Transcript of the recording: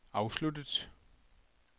afsluttet